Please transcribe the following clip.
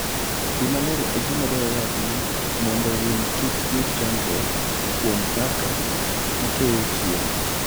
Pi maler en gima dwarore ahinya mondo winy kik yud chandruok kuom kaka gikeyo chiemo.